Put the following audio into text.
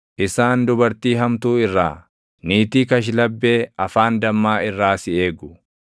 isaan dubartii hamtuu irraa, niitii kashlabbee afaan dammaa irraa si eegu.